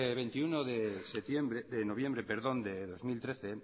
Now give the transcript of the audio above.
veintiuno de noviembre de dos mil trece